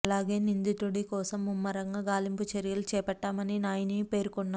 అలాగే నిందితుడి కోసం ముమ్మరంగా గాలింపు చర్యలు చేపట్టామని నాయిని పేర్కొన్నారు